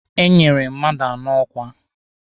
Enyere mmadụ anọ ọkwa